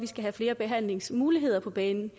skal have flere behandlingsmuligheder på banen